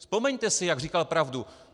Vzpomeňte si, jak říkal pravdu.